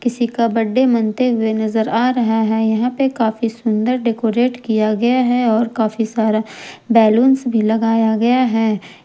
किसी का बर्थडे मनते हुए नजर आ रहा हैं यहां पर काफी सुन्दर डेकोरेट किया गया हैं और काफी सारा बैलूनस भी लगाया गया हैं।